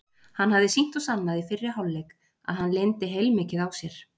Hann hafði sýnt og sannað í fyrri hálfleik að hann leyndi heilmikið á sér.